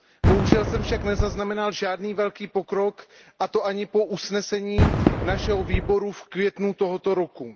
Bohužel jsem však nezaznamenal žádný velký pokrok, a to ani po usnesení našeho výboru v květnu tohoto roku.